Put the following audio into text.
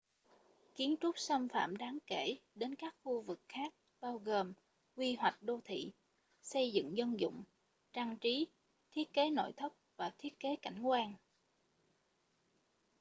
kiến trúc xâm phạm đáng kể đến các khu vực khác bao gồm quy hoạch đô thị xây dựng dân dụng trang trí thiết kế nội thất và thiết kế cảnh quan